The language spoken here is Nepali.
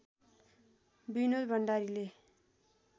विनोद भण्डारीले